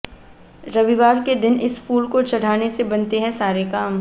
रविवार के दिन इस फूल को चढ़ाने से बनते हैं सारे काम